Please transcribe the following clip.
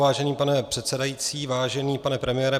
Vážený pane předsedající, vážený pane premiére.